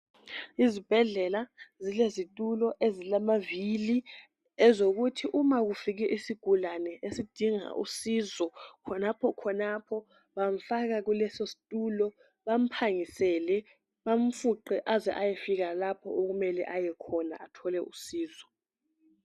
Izibhedlela zilezitulo ezilamavili ezokuthi uma kufike isigulane esidinga usizo khonapho khonapho bamfaka kuleso situlo bamphangisele bamfuqe aze ayefika lapho okumele ayekhona athole usizo